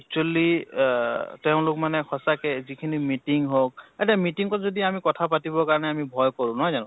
actually আ তেওঁলোক মানে সঁচাকে যিখিনি meeting হওঁক, এতা meeting ত যদি আমি কথা পাতিব কাৰণে আমি ভয় কৰোঁ, নহয় জানো?